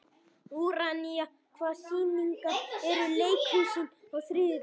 Úranía, hvaða sýningar eru í leikhúsinu á þriðjudaginn?